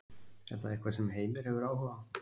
Er það eitthvað sem Heimir hefur áhuga á?